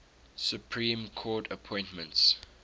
supreme court appointments